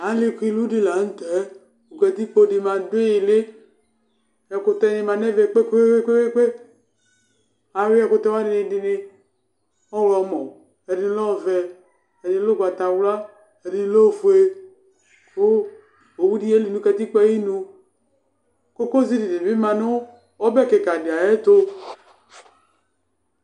alikilu di laŋtɛ katikpo di ma du ili ɛkutɛ ni ma nɛ vɛ kpekpekpe aɣuiɛ ɛkutɛ wani dinidi ɔɣlɔmɔ ɛdini nu ɛvɛ ɛdini nu ugbatawla edini nu ofoe ku owu di ɣeli nu katikpo aɣinu